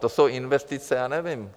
To jsou investice, já nevím.